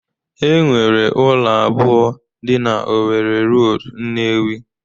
Enwere ụlọ abụọ dị na Owerri Road, Nnewi